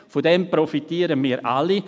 Davon profitieren wir alle.